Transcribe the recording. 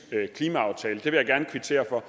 klimaaftale vil jeg gerne kvittere for